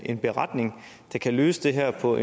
en beretning der kan løse det her på